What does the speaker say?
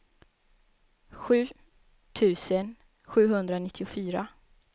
sju tusen sjuhundranittiofyra